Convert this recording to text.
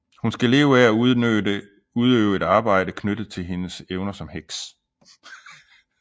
Hun skal leve af at udøve et arbejde knyttet til hendes evner som heks